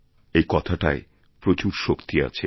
এই কথাটায় প্রচুর শক্তি আছে